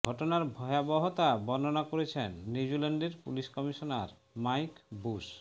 ঘটনার ভয়াবহতা বর্ণনা করছেন নিউজিল্যান্ডের পুলিশ কমিশনার মাইক বুশ